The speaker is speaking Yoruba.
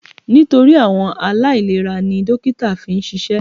Nítorí àwọn aláìlera ni dókítà fi ń ṣiṣẹ́.